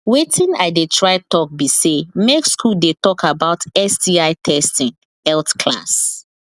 watin i they try talk be say make school they talk about sti testing health class